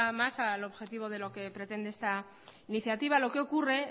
más al objetivo de lo que pretende esta iniciativa lo que ocurre